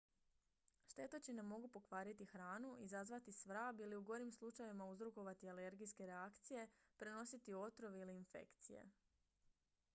štetočine mogu pokvariti hranu izazvati svrab ili u gorim slučajevima uzrokovati alergijske reakcije prenositi otrov ili infekcije